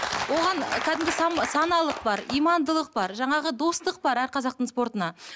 оған кәдімгі саналылық бар имандылық бар жаңағы достық бар әр қазақтың спортына